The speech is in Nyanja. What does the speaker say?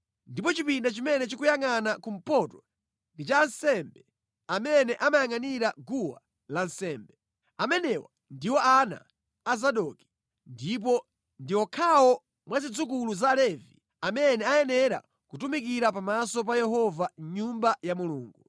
ndipo chipinda chimene chikuyangʼana kumpoto ndi cha ansembe amene amayangʼanira guwa lansembe. Amenewa ndiwo ana a Zadoki, ndipo ndi okhawo mwa zidzukulu za Levi amene ayenera kutumikira pamaso pa Yehova mʼNyumba ya Mulungu.”